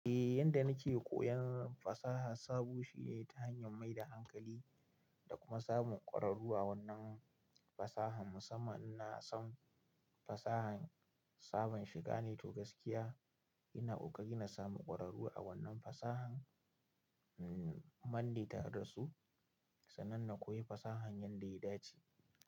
Eh yanda nake koyan fasaha sabo shine ta hanyan mai da hankali da kuma samun ƙwararru a wannan fasahan. Musamman inna san fasahan sabon shiga ne to gaskiya ina ƙoƙari na samu ƙwararru a wannan fasahan mm manne tare da su sannan na koyi fasahan yanda ya dace.